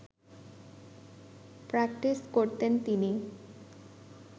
practice করতেন তিনি